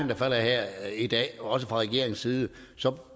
der falder her i dag også fra regeringens side